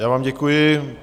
Já vám děkuji.